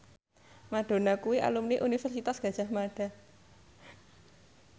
Madonna kuwi alumni Universitas Gadjah Mada